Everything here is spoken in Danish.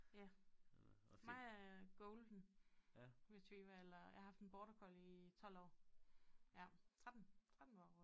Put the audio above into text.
Ja mig er golden retriever eller jeg har haft en border collie i 12 år ja 13 13 år